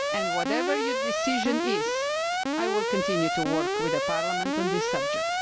and whatever your decision is, I will continue to work with Parliament on this subject.